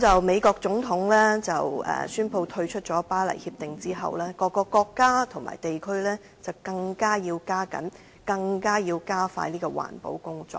美國總統宣布退出《巴黎協定》後，各國及地區更要加緊和加快環保工作。